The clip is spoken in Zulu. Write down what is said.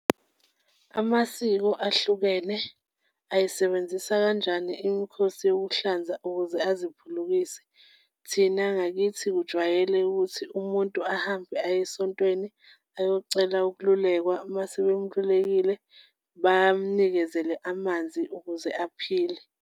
Amasiko ahlukene ayisebenzisa kanjani imikhosi yokuhlanza ukuze aziphulukise? Thina ngakithi, kujwayele ukuthi umuntu ahambe ayesontweni ayocela ukululekwa uma sebemlulekile, bamnikezele amanzi ukuze aphile.